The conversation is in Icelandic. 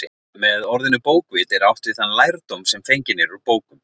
Með orðinu bókvit er átt við þann lærdóm sem fenginn er úr bókum.